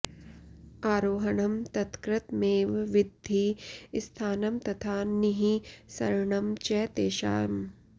आरोहणं तत्कृतमेव विद्धि स्थानं तथा निःसरणं च तेषाम्